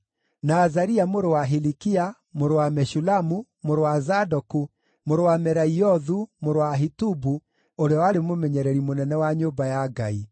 na Azaria mũrũ wa Hilikia, mũrũ wa Meshulamu, mũrũ wa Zadoku, mũrũ wa Meraiothu, mũrũ wa Ahitubu ũrĩa warĩ mũmenyereri mũnene wa nyũmba ya Ngai;